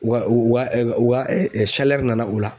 Wa wa nana o la